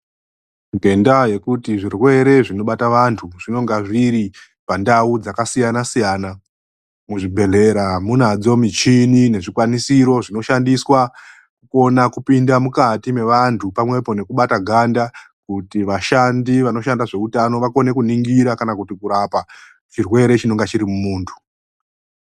Ngendaa yekuti zvirwere zvinobata antu zvinenge zviri pandau dzakasiyana-sayana. Muzvibhedhlera munadzo mishini nezvikwanisiro zvinoshandiswa kuona, kupinda mukati mevantu pamwepo nekubata ganda, kutivashandi vakone kuningira kana kuti kurapa chirwere chinenge chiri mumuntu.